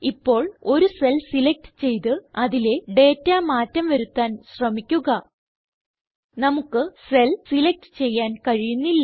ഇപ്പോൾ ഒരു cell select ചെയ്ത് അതിലെ ഡേറ്റ മാറ്റം വരുത്താൻ ശ്രമിക്കുക നമുക്ക് സെൽ സിലക്റ്റ് ചെയ്യാൻ കഴിയുന്നില്ല